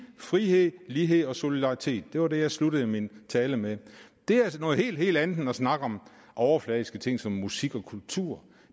frihed lighed og solidaritet det var det jeg sluttede min tale med det er altså noget helt helt andet end at snakke om overfladiske ting som musik og kultur